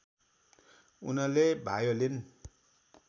उनले भायोलिन